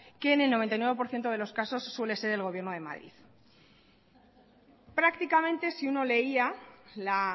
que en el noventa y nueve por ciento de los casos suele ser el gobierno de madrid prácticamente si uno leía la